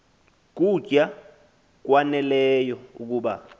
kutya kwaneleyo ukuba